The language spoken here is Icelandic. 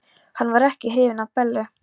Hann var ekki hrifinn af Bellu.